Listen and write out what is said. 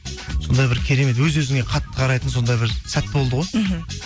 сондай бір керемет өз өзіңе қатты қарайтын сондай бір сәт болды ғой мхм